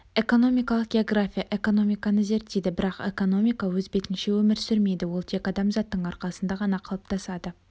экономикалық география экономиканы зерттейді бірақ экономика өз бетінше өмір сүрмейді ол тек адамзаттың арқасында ғана қалыптасады